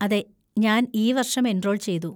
അതെ, ഞാൻ ഈ വർഷം എൻറോൾ ചെയ്തു.